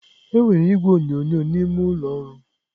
Enwere igwe onyonyo n'ime ụlọ ọrụ.